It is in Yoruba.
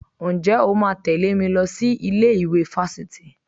Ǹjẹ́ o máa tẹ̀lé mi lọ sí ilé ìwé fáfitì?